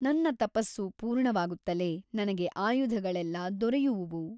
ನನ್ನ ತಪಸ್ಸು ಪೂರ್ಣವಾಗುತ್ತಲೇ ನನಗೆ ಆಯುಧಗಳೆಲ್ಲ ದೊರೆಯುವುವು.